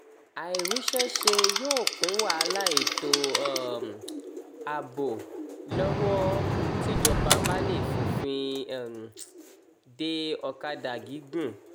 àìríṣẹ́ ṣe yóò kún wàhálà ètò um ààbò lọ́wọ́ tíjọba bá lè fòfin um dé ọ̀kadà gígùn